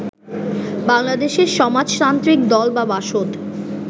বাংলাদেশের সমাজতান্ত্রিক দল বা বাসদ